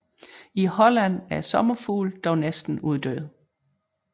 I Holland er sommerfuglen dog næsten uddød